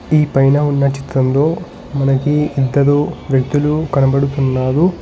ఈ పైన ఉన్న చిత్రంలో మనకి ఇద్దరు వ్యక్తులు కనబడుతున్నారు.